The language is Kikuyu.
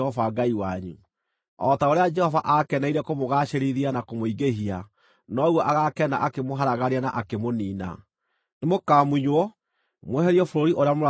O ta ũrĩa Jehova aakeneire kũmũgaacĩrithia na kũmũingĩhia, noguo agaakena akĩmũharagania na akĩmũniina. Nĩmũkamunywo mweherio bũrũri ũrĩa mũrathiĩ mũwĩgwatĩre.